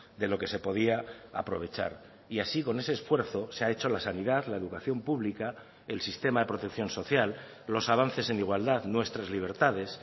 de lo que se podía aprovechar y así con ese esfuerzo se ha hecho la sanidad la educación pública el sistema de protección social los avances en igualdad nuestras libertades